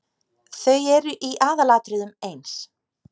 Þau eru í aðalatriðum eins.